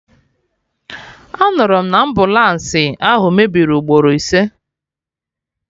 Anụrụ m na ambụlansi ahụ mebiri ugboro ise